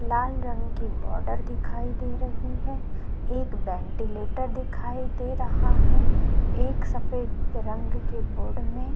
लाल रंग की बॉर्डर दिखाई दे रही है एक वेंटीलेटर दिखाई दे रहा है एक सफेद रंग के बोर्ड में --